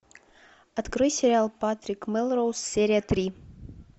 открой сериал патрик мелроуз серия три